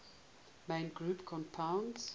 main group compounds